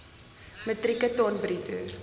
metrieke ton bruto